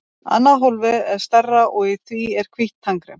Annað hólfið er stærra og í því er hvítt tannkrem.